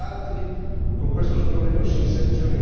Ma i progressi normativi sono stati anche altri.